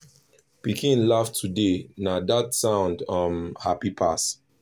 pikin laugh today na dat sound um happy pass